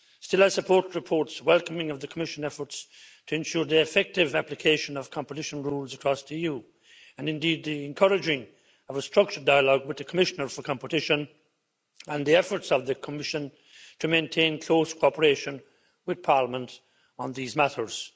Still, I support reports welcoming the Commission efforts to ensure the effective application of competition rules across the EU, and indeed the encouraging of a structured dialogue with the Commissioner for Competition and the efforts of the Commission to maintain close cooperation with Parliament on these matters.